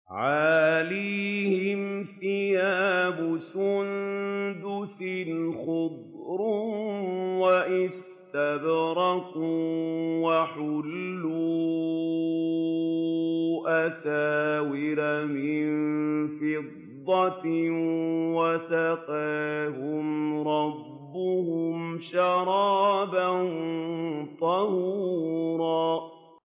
عَالِيَهُمْ ثِيَابُ سُندُسٍ خُضْرٌ وَإِسْتَبْرَقٌ ۖ وَحُلُّوا أَسَاوِرَ مِن فِضَّةٍ وَسَقَاهُمْ رَبُّهُمْ شَرَابًا طَهُورًا